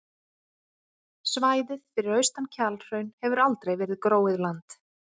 Svæðið fyrir austan Kjalhraun hefur aldrei verið gróið land.